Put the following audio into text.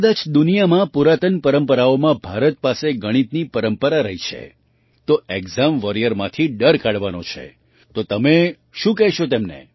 કદાચ દુનિયામાં પુરાતન પરંપરાઓમાં ભારત પાસે ગણિતની પરંપરા રહી છે તો ઍક્ઝામ વૉરિયરમાંથી ડર કાઢવાનો છે તો તમે શું કહેશો તેમને